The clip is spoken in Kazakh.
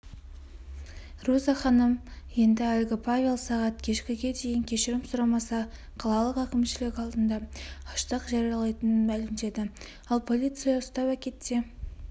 руза ханым енді әлгі павел сағат кешкі ге дейін кешірім сұрамаса қалалық әкімшілік алдында аштық жариялайтынын мәлімдеді ал полиция ұстап әкетсе